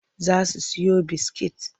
Za su siyo biskit.